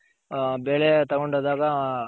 ಬೆಳೆ ತಗೊಂಡೋದಾಗ